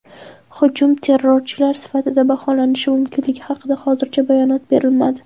Hujum terrorchilik sifatida baholanishi mumkinligi haqida hozircha bayonot berilmadi.